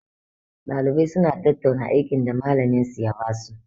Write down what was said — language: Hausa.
Ɗaliban suna tattauna aikin da malamin minsu ya basu.